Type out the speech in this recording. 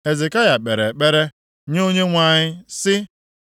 Hezekaya kpere ekpere nye Onyenwe anyị, sị: